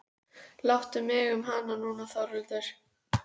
Láttu mig um hana núna Þórhildur.